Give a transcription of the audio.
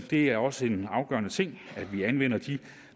det er også en afgørende ting at vi anvender de